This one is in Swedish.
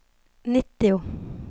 nittio